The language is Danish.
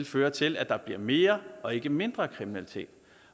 føre til at der bliver mere og ikke mindre kriminalitet